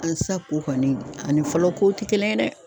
Aa sisan ko kɔni ani fɔlɔ kow te kelen ye dɛ